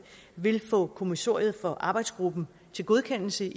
vil få kommissoriet for arbejdsgruppen til godkendelse